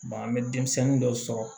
an bɛ denmisɛnnin dɔw sɔrɔ